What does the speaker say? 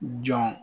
Jɔn